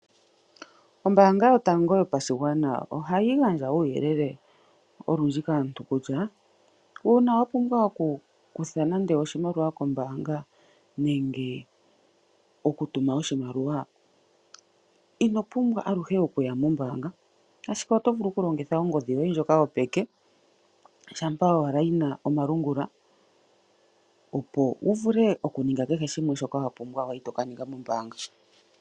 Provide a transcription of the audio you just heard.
Ombaanga yotango yopashigwana ohayi gandja uuyelele olundji kaantu kutya, uuna wapumbwa oku kutha nande oshimaliwa kombaanga nenge okutuma oshimaliwa, inopumbwa aluhe ashike oto vulu okulongitha ongodhi yoye yopeke, shampa owala yina omalungula opo wuvule okuninga keshe shimwe shoka wapumbwa wali tokaninga kombaanga.